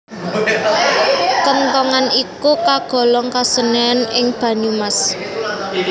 Kenthongan iku kagolong kesenian ing Banyumas